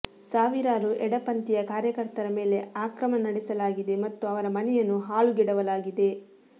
ಸಾವಿರಾರು ಎಡಪಂಥೀಯ ಕಾರ್ಯಕರ್ತರ ಮೇಲೆ ಆಕ್ರಮಣ ನಡೆಸಲಾಗಿದೆ ಮತ್ತು ಅವರ ಮನೆಯನ್ನು ಹಾಳುಗೆಡವಲಾಗಿದೆ